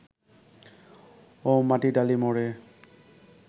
ও মাটিডালি মোড়ে